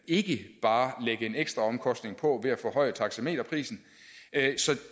ikke bare lægge en ekstra omkostning på ved at forhøje taxameterprisen så